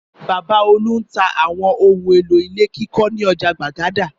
Bàbá Olú ń ta àwọn ohun-èlò ilé kíkọ́ ní ọjà Gbàgádà.